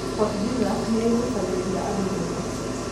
Fort Jesus nĩĩgucagĩrĩria andũ mũno